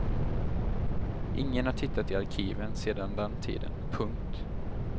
Ingen har tittat i arkiven sedan den tiden. punkt